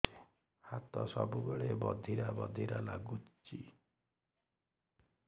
ହାତ ସବୁବେଳେ ବଧିରା ବଧିରା ଲାଗୁଚି